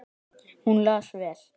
Hún las vel.